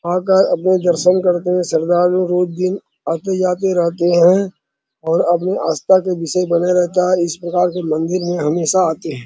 आकर अपने दर्शन करते हुए सरदार रोज दिन आते जाते रहते है और अपने आस्था का विषय बने रहता है इस प्रकार के मंदिर में हमेशा आते है।